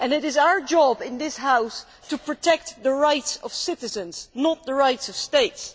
It is our job in this House to protect the rights of citizens, not the rights of states.